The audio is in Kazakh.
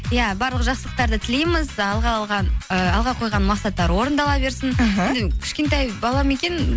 иә барлық жақсылықтарды тілейміз ііі алға қойған мақсаттар орындала берсін іхі енді кішкентай бала ма екен